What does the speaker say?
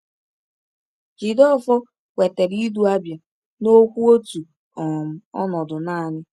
Jideofor kwetara ịdu Abia n’okwu otu um ọnọdụ naanị.